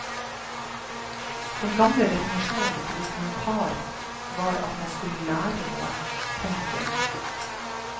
Den gamle definisjonen på dokumentar var at man skulle lære noe. punktum